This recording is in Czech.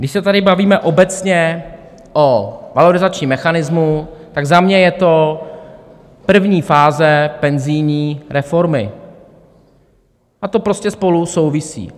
Když se tady bavíme obecně o valorizačním mechanismu, tak za mě je to první fáze penzijní reformy a to prostě spolu souvisí.